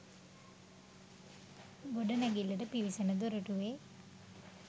ගොඩනැගිල්ලට පිවිසෙන දොරටුවේ